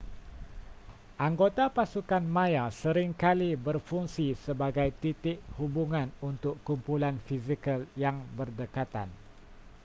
anggota pasukan maya sering kali berfungsi sebagai titik hubungan untuk kumpulan fizikal yang berdekatan